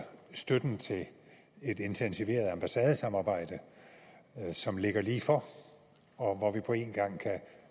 støtten til et intensiveret ambassadesamarbejde som ligger lige for og hvor vi på én gang kan